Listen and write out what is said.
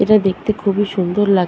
এটা দেখতে খুবই সুন্দর লাগ--